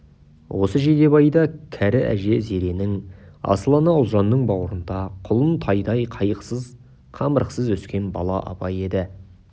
осы жидебайда кәрі әже зеренің асыл ана ұлжанның бауырында құлын-тайдай қайғысыз қамырықсыз өскен бала абай еді